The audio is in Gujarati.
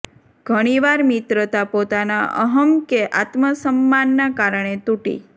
ઘણી વાર મિત્રતા પોતાના અહં કે આત્મસમ્માનના કારણે તૂટી